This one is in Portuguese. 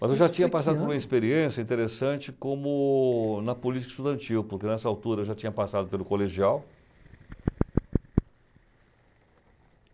Mas eu já tinha passado por uma experiência interessante como na política estudantil, porque nessa altura eu já tinha passado pelo colegial.